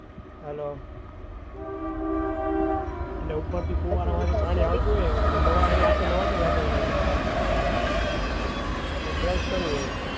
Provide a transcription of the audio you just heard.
Hello એટલે ઉપર થી ફુવારા વાળું પાણી આવતું હોય એટલે નવય ને સાથે નાવતું હોય ને brush કરવું હોય.